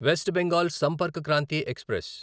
west Bengal Sampark Kranti express